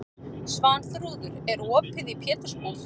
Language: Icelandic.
Svanþrúður, er opið í Pétursbúð?